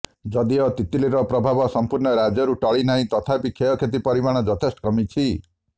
ଯଦିଓ ତିତଲିର ପ୍ରଭାବ ସମ୍ପୂର୍ଣ୍ଣ ରାଜ୍ୟରୁ ଟଳି ନାର୍ହିଁ ତଥାପି କ୍ଷୟକ୍ଷତି ପରିମାଣ ଯଥେଷ୍ଟ କମିଛି